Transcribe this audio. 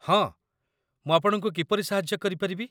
ହଁ, ମୁଁ ଆପଣଙ୍କୁ କିପରି ସାହାଯ୍ୟ କରିପାରିବି?